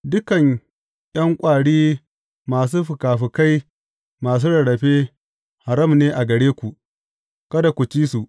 Dukan ’yan ƙwari masu fikafikai masu rarrafe, haram ne a gare ku, kada ku ci su.